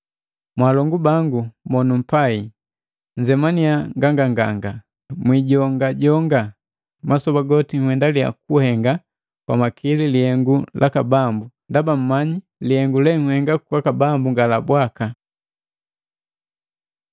Mwalongu bangu monupai, nnzemaniya nganganga, mwijongajonga. Masoba goti nhendalia kuhenga kwa makili lihengu laka Bambu, ndaba mmanyi kuba lihengu lenhenga kwaka Bambu nga la bwaka.